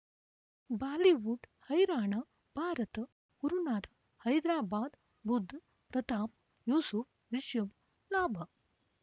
Bollywood ಹೈರಾಣ ಭಾರತ ಗುರುನಾಥ ಹೈದರಾಬಾದ್ ಬುಧ್ ಪ್ರತಾಪ್ ಯೂಸುಫ್ ರಿಷಬ್ ಲಾಭ